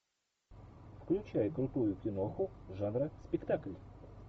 включай крутую киноху жанра спектакль